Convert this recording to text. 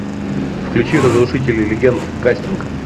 включи разрушители легенд кастинг